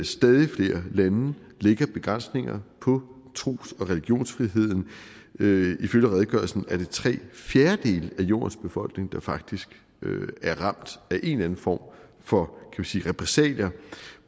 stadig flere lande lægger begrænsninger på tros og religionsfriheden ifølge redegørelsen er det tre fjerdedele af jordens befolkning der faktisk er ramt af en eller anden form for repressalier